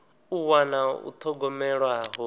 u wana u thogomelwa ho